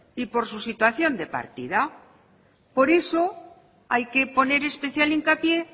y por su situación de partida por eso hay que poner especial hincapié